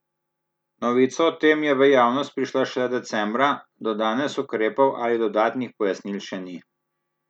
Novica o tem je v javnost prišla šele decembra, do danes ukrepov ali dodatnih pojasnil še ni.